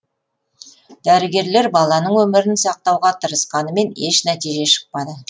дәрігерлер баланың өмірін сақтауға тырысқанымен еш нәтиже шықпады